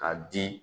Ka di